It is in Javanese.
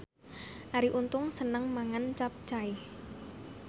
Arie Untung seneng mangan capcay